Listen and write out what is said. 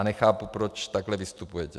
A nechápu, proč takhle vystupujete.